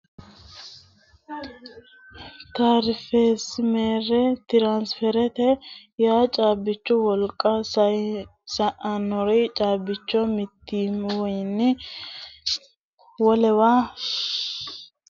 Tiransferimere, tiransifermerete yaa caabichu woliqa sayisannori caabbiicho mitiwinni wolewa shiwote sayisate mito dariga woliqa diunite hakinni bebehate hotonsidhano hayyo tiransferimerete yinanni